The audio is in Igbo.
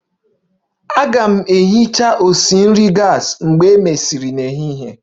M ga-ehicha onye na-esi nri gas mgbe e mesịrị n'ehihie